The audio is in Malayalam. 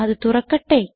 അത് തുറക്കട്ടെ